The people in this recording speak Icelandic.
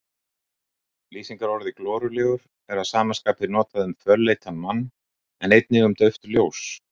Lýsingarorðið glorulegur er að sama skapi notað um fölleitan mann en einnig um dauft ljós.